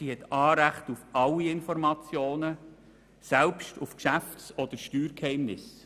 sie hat Anrecht auf alle Informationen, selbst auf Geschäfts- oder Steuergeheimnisse.